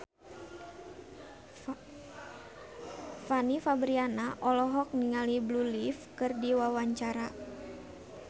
Fanny Fabriana olohok ningali Blue Ivy keur diwawancara